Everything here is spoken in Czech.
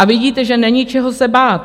A vidíte, že není čeho se bát.